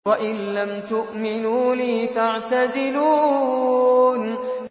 وَإِن لَّمْ تُؤْمِنُوا لِي فَاعْتَزِلُونِ